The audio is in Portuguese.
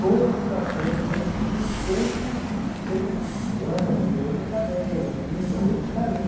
Todas que eu atendo, é bom dia, sempre, sempre, fulana, você hoje não está bem, menina, hoje você está